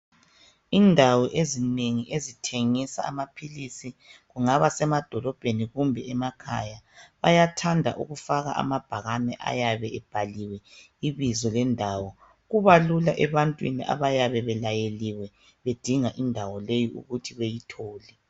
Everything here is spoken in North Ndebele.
Indawo ezinengi ezithengisa amaphilisi kungaba semadolobheni kumbeni emakhaya bayathanda ukufaka amabhakani ayabe ebhaliwe ibizo lendawo. Kubalula ebantwini abayabe belayeliwe bedinga indawo leyi ukuthi beyithole.